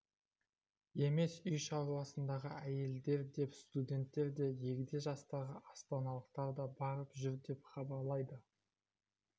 емес үй шаруасындағы әйелдер де студенттер де егде жастағы астаналықтар да барып жүр деп хабарлайды